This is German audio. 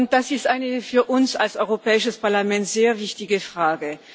Das ist für uns als Europäisches Parlament eine sehr wichtige Frage.